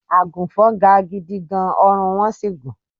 Àgùnfọn ga gidi gan-an, ọrùn wọn sì gùn.